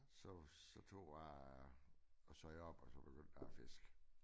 Så så tog jeg og sagde op så begyndte jeg at fiske